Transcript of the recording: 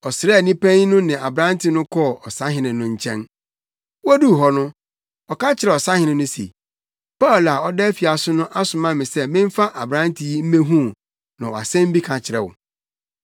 Ɔsraani panyin no ne aberante no kɔɔ ɔsahene no nkyɛn. Woduu hɔ no, ɔka kyerɛɛ ɔsahene no se, “Paulo a ɔda afiase no asoma me sɛ memfa aberante yi mmehu wo na ɔwɔ asɛm bi ka kyerɛ wo.”